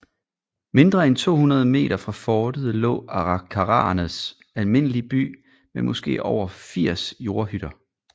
Mindre end 200 meter fra fortet lå arikaraernes almindelige by med måske over 80 jordhytter